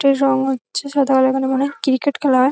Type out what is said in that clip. Stage রং হচ্ছে সাধারণত এখানে মনে হয় ক্রিকেট খেলা হয়।